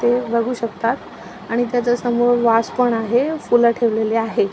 ते बघू शकतात आणि त्याच्यासमोर वाज पण आहे फुलं ठेवलेली आहे.